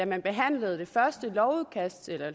man behandlede det første